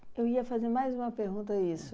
Mas, eu ia fazer mais uma pergunta isso.